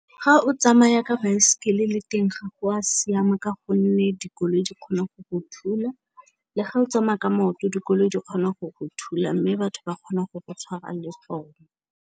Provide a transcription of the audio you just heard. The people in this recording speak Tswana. Ga o tsamaya ka baesekele le teng ga go a siama, ka gonne dikoloi di kgona go go thula, le ga o tsamaya ka maoto dikoloi di kgona go go thula mme batho ba kgona go tshwara le poo.